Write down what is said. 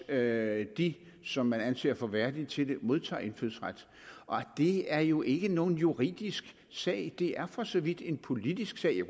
at de som man anser for værdige til det modtager indfødsret og det er jo ikke nogen juridisk sag det er for så vidt en politisk sag